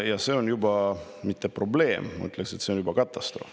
Ma ütleksin, et see ei ole enam probleem, vaid juba katastroof.